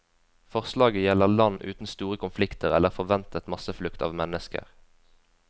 Forslaget gjelder land uten store konflikter eller forventet masseflukt av mennesker.